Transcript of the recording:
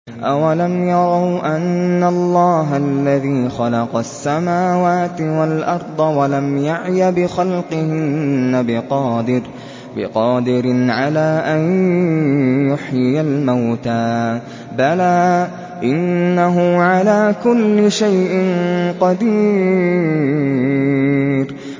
أَوَلَمْ يَرَوْا أَنَّ اللَّهَ الَّذِي خَلَقَ السَّمَاوَاتِ وَالْأَرْضَ وَلَمْ يَعْيَ بِخَلْقِهِنَّ بِقَادِرٍ عَلَىٰ أَن يُحْيِيَ الْمَوْتَىٰ ۚ بَلَىٰ إِنَّهُ عَلَىٰ كُلِّ شَيْءٍ قَدِيرٌ